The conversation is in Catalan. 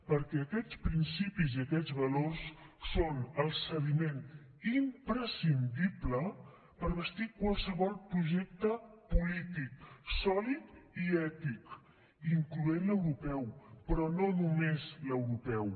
perquè aquests principis i aquests valors són el sediment imprescindible per bastir qualsevol projecte polític sòlid i ètic incloent hi l’europeu però no només l’europeu